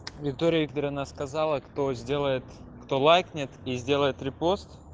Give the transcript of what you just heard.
виктория викторовна сказала кто сделает кто лайкнет и сделает репост